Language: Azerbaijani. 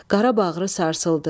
Qara bağırı sarsıldı.